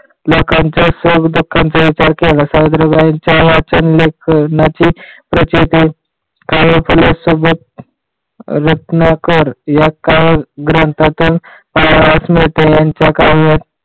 लोकांच्या सुखदुःखाचा विचार केला सावित्रीबाईंच्या वासल्यापणाची प्रचिती कार्य केल्या या सुबोध रचनाकार या कालग्रंथातून पाया रचने